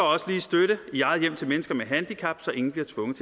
også lige støtte i eget hjem til mennesker med handicap så ingen bliver tvunget